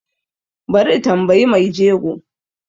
Bari in tambiyi mai jego